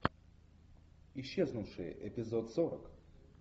исчезнувшие эпизод сорок